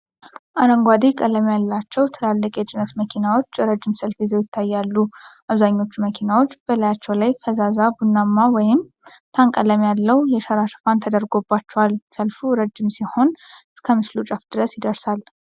አረንጓዴ ቀለም ያላቸው ትላልቅ የጭነት መኪናዎች ረዥም ሰልፍ ይዘው ይታያሉ። አብዛኞቹ መኪናዎች በላያቸው ላይ ፈዛዛ ቡናማ ወይም ታን ቀለም ያለው የሸራ ሽፋን ተደርጎባቸዋል። ሰልፉ ረዥም ሲሆን እስከ ምስሉ ጫፍ ድረስ ይደርሳል።